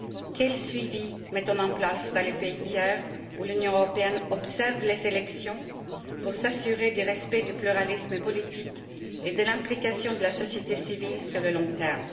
Quel suivi mettons nous en place dans les pays tiers où l'Union européenne observe les élections pour s'assurer du respect du pluralisme politique et de l'implication de la société civile sur le long terme?